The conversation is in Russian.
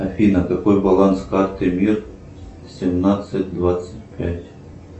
афина какой баланс карты мир семнадцать двадцать пять